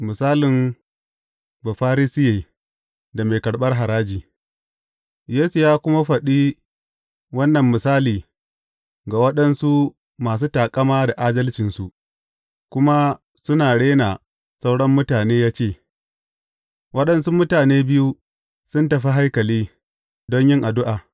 Misalin Bafarisiye da mai karɓar haraji Yesu ya kuma faɗi wannan misali ga waɗansu masu taƙama da adalcinsu, kuma suna rena sauran mutane ya ce, Waɗansu mutane biyu sun tafi haikali don yin addu’a.